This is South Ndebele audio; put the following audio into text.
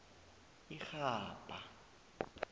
irhabha